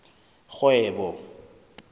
kgwebo